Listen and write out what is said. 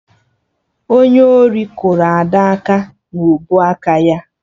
Onye ọrụ kụrụ Ada aka na ubuaka ya